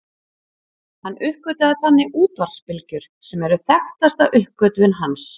Hann uppgötvaði þannig útvarpsbylgjur sem eru þekktasta uppgötvun hans.